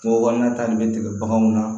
Kungo kɔnɔna ta nin bɛ tigɛ baganw na